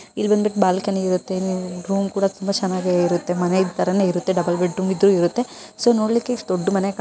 ಇಲ್ಲಿ ಬ್ನದ್ಬಿಟ್ಟು ಬಾಲ್ಕನಿ ಇರುತ್ತೆ ರೂಮ್ ಕೂಡ ತುಂಬಾ ಚೆನ್ನಾಗಿ ಇರುತ್ತೆ ಮನೆ ತರಹನೇ ಇರುತ್ತೆ ಡಬಲ್ ಬೆಡ್ ರೂಮ್ ಇದ್ರೂ ಇರುತ್ತೆ ಸೊ ನೋಡ್ಲಿಕ್ಕೆ ಇಷ್ಟು ದೊಡ್ಡ ಮನೆ_